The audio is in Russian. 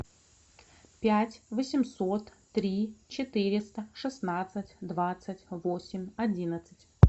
пять восемьсот три четыреста шестнадцать двадцать восемь одиннадцать